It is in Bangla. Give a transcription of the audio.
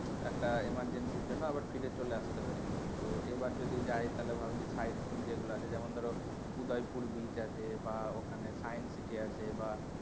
একটা emergency র জন্য আবার ফিরে চলে আসতে হয়েছিলো তো এবার যদি যাই তাহলে ভাবছি side seeing যেগুলো আছে যেমন ধরো উদয়পুর beach আছে বা ওখানে science city আছে বা,